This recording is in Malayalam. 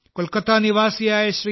കൊൽക്കത്ത നിവാസിയായ ശ്രീ